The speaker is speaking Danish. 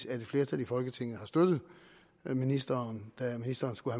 et flertal i folketinget har støttet ministeren da ministeren skulle